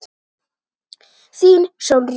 Þín Sólrún.